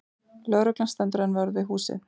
Lögreglan stendur enn vörð við húsið